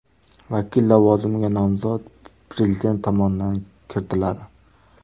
Vakil lavozimiga nomzod Prezident tomonidan kiritiladi.